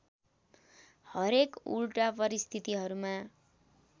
हरेक उल्टा परिस्थितिहरूमा